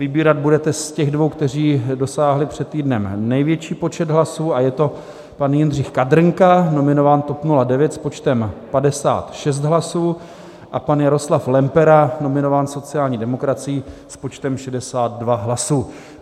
Vybírat budete z těch dvou, kteří dosáhli před týdnem největší počet hlasů, a je to pan Jindřich Kadrnka, nominován TOP 09 s počtem 56 hlasů, a pan Jaroslav Lempera, nominován sociální demokracií s počtem 62 hlasů.